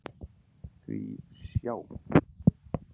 Því sjá!